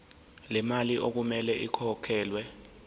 lemali okumele ikhokhelwe